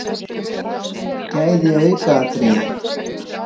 Gæði aukaatriði?